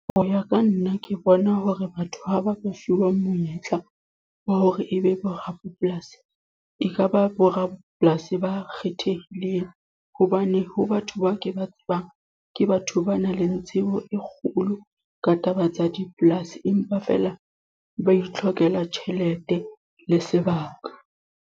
Hoya ka nna. Ke bona hore batho ha ba ba fuwang monyetla, wa hore e be borapolasi. E ka ba borapolasi ba kgethehileng. Hobane ho batho ba ke ba tsebang, ke batho ba nang le tsebo e kgolo ka taba tsa dipolasi. Empa feela ba itlhokela tjhelete, le sebaka.